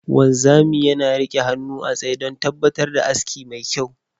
Wanzami yana rike hannu a tsaye don tabbatar da aski mai kyau.